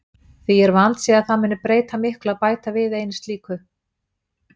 Því er vandséð að það mundi breyta miklu að bæta við einu slíku.